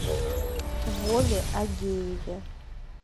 вове агееве